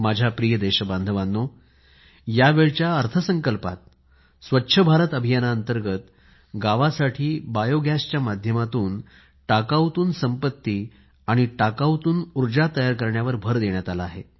माझ्या प्रिय देश बांधवानो या वेळच्या अर्थ संकल्पात स्वच्छ भारत अभियाना अंतर्गत गावासाठी बायोगॅसच्या माध्यमातून टाकाऊतून संपत्ती आणि टाकाऊतून उर्जा तयार करण्यावर भर देण्यात आला आहे